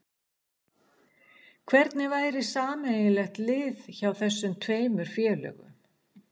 Hvernig væri sameiginlegt lið hjá þessum tveimur félögum?